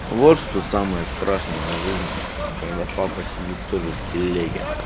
вот что самое страшное в жизни когда папа сидит тоже в телеге